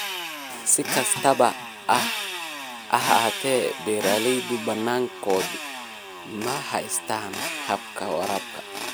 Si kastaba ha ahaatee, beeralayda badankoodu ma haystaan ??hababka waraabka.